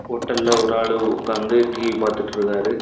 ஹோட்டல்ல ஒரு ஆளு உட்காந்து டி_வி பார்த்துட்டு இருக்காரு.